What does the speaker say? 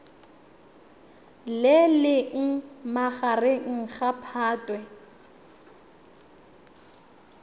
le leng magareng ga phatwe